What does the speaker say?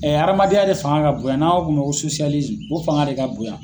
hadamadenya yɛrɛ de fanga ka bonya n'an b'a fɔ o ma ko o fanga de ka bon yan.